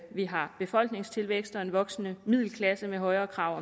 vi har befolkningstilvækst og en voksende middelklasse med højere krav